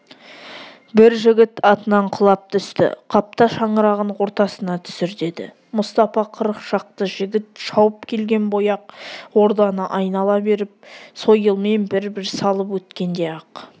бір жігіт атынан құлап түсті қапта шаңырағын ортасына түсір деді мұстапа қырық шақты жігіт шауып келген бойы ақ орданы айнала беріп сойылмен бір-бір салып өткенде-ақ